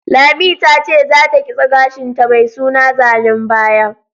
Lami ta ce za ta kitse gashin ta mai suna zanen baya